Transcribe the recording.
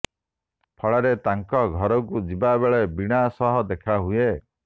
ଫଳରେ ତାଙ୍କ ଘରକୁ ଯିବା ବେଳେ ବୀଣା ସହ ଦେଖାହୁଏ